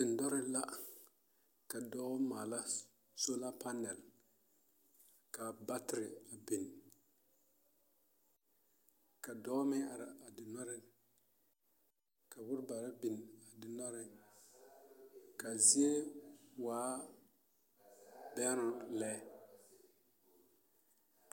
Dendɔre la ka dɔɔ maala solar panel ka battery a biŋ ka dɔɔ meŋ are a dendɔreŋ ka bonbaare biŋ a dendɔreŋ ka a zie waa bɛŋnoo lɛ .